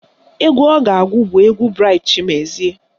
Egwu ọ ga-agụ bụ egwu Braịt Chimezie